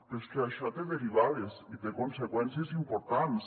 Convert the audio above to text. però és que això té derivades i té conseqüències importants